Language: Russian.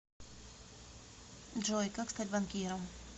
джой как стать банкиром